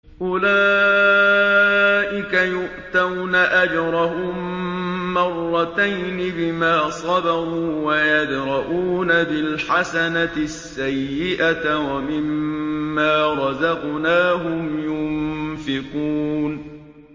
أُولَٰئِكَ يُؤْتَوْنَ أَجْرَهُم مَّرَّتَيْنِ بِمَا صَبَرُوا وَيَدْرَءُونَ بِالْحَسَنَةِ السَّيِّئَةَ وَمِمَّا رَزَقْنَاهُمْ يُنفِقُونَ